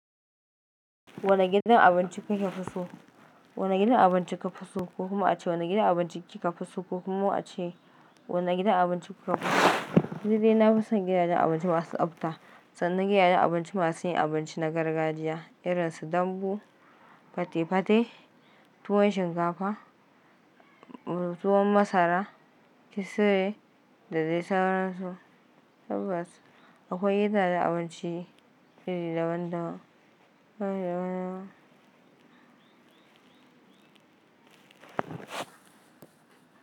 Wane gidan abinci kake so? Wane gidan abinci ka fi so ko kuma ace, wane gidan abinci kika fi so ko kuma ace, wane gidan abinci kuka fi so? Ni dai nafi son gidajen abinci masu tsabta, sannan gidajen abinci masu yin abinci na gargajiya irin su dambu, fate-fate, tuwon shinkafa, tuwon masara, kisire da dai sauran su. Tabbas akwai gidajen abinci iri daban-daban.